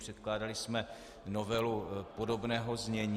Předkládali jsme novelu podobného znění.